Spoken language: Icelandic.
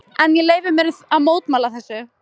En ég leyfi mér að mótmæla þessu.